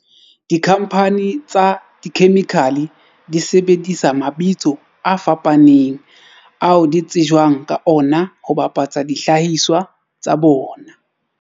Dikhamphane tsa dikhemikhale di sebedisa mabitso a fapaneng ao di tsejwang ka ona ho bapatsa dihlahiswa tsa bona.